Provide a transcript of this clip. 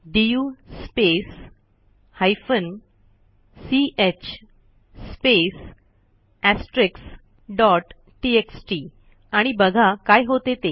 DU space hyphen च space asterisks dot T X T आणि बघा काय होते ते